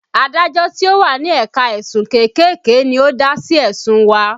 Adájọ́ tí ó wà ní ẹ̀ka ẹ̀sùn kéékèèké ni ó dá sí ẹ̀sùn wa